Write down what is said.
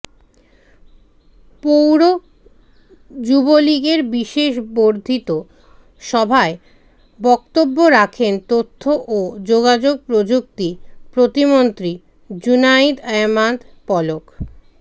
পৌর যুবলীগের বিশেষ বর্ধিত সভায় বক্তব্য রাখেন তথ্য ও যোগাযোগ প্রযুক্তি প্রতিমন্ত্রী জুনাইদ আহমেদ পলক